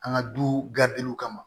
An ka du gadegew kama